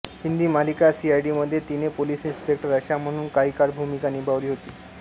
हिंदी मालिका सीआयडी मध्ये तिने पोलीस इन्स्पेक्टर आशा म्हणून काही काळ भूमिका निभावली होती